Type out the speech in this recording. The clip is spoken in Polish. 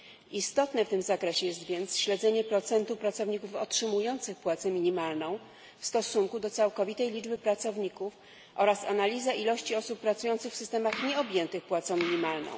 Istotne w tym zakresie jest więc śledzenie procentu pracowników otrzymujących płacę minimalną w stosunku do całkowitej liczby pracowników oraz analiza ilości osób pracujących w systemach nieobjętych płacą minimalną.